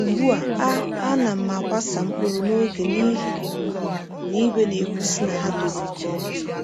Ugbu a, a a na m akwasa mkpụrụ n’oge n’ihi na igwe na-ekwusi na ha toro nke ọma.